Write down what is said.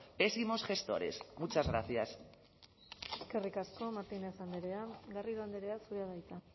pésimos gestores muchas gracias eskerrik asko martínez andrea garrido andrea zurea da hitza